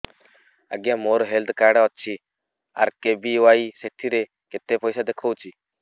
ଆଜ୍ଞା ମୋର health card ଅଛି ଆର୍.କେ.ବି.ୱାଇ ସେଥିରେ କେତେ ପଇସା ଦେଖଉଛି